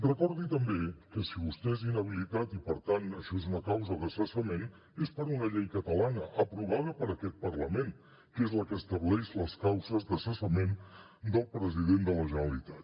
recordi també que si vostè és inhabilitat i per tant això és una causa de cessament és per una llei catalana aprovada per aquest parlament que és la que estableix les causes de cessament del president de la generalitat